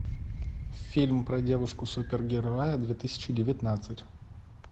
фильм про девушку супергероя две тысячи девятнадцать